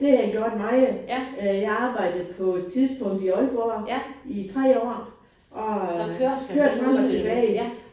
Det har jeg gjort meget. Jeg arbejdede på et tidspunkt i Aalborg i tre år og kørte frem og tilbage